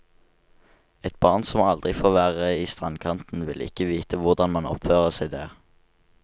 Et barn som aldri får være i strandkanten vil ikke vite hvordan man oppfører seg der.